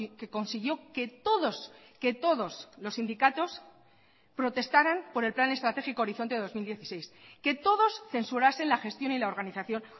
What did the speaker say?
que consiguió que todos que todos los sindicatos protestaran por el plan estratégico horizonte dos mil dieciséis que todos censurasen la gestión y la organización